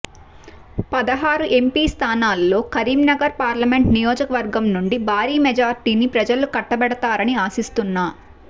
పదహారు ఎంపి స్థానాల్లో కరీంనగర్ పార్లమెంట్ నియోజకవర్గం నుండి భారీ మెజార్టీని ప్రజలు కట్టబెడతారని ఆశిస్తున్నా